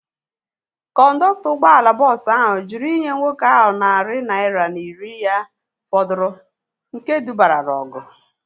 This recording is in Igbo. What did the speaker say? Kọndọktọ ụgbọala bọọsu ahu jụrụ inye nwoke ahu narị naira na iri ya fọdụrụ nke dubara na ọgụ